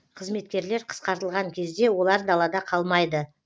қызметкерлер қысқартылған кезде олар далада қалмайды